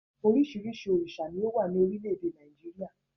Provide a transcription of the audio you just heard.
Oríṣiríṣi òrìṣà ni ó wà ní orílẹ̀ èdè Nàìjíríà